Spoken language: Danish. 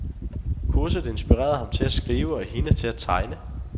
Kurset inspirerede ham til at skrive og hende til at tegne.